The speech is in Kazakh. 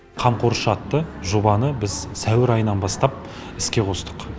қамқоршы атты жобаны біз сәуір айынан бастап іске қостық